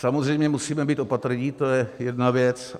Samozřejmě musíme být opatrní, to je jedna věc.